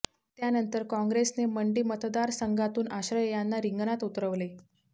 त्यानंतर कॉंग्रेसने मंडी मतदारसंघातून आश्रय यांना रिंगणात उतरवले